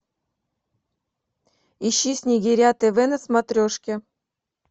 ищи снегиря тв на смотрешке